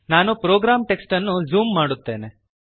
ನಾನು program text ಅನ್ನು zoom ಮಾಡುತ್ತೇನೆ